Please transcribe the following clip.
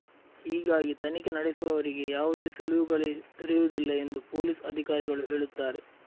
ಹೀಗಾಗಿ ತನಿಖೆ ನಡೆಸುವವರಿಗೆ ಯಾವುದೇ ಸುಳಿವುಗಳೇ ದೊರೆಯುವುದಿಲ್ಲ ಎಂದು ಪೊಲೀಸ್ ಅಧಿಕಾರಿಗಳು ಹೇಳುತ್ತಾರೆ